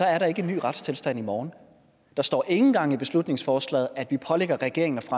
er der ikke en ny retstilstand i morgen der står ikke engang i beslutningsforslaget at vi pålægger regeringen at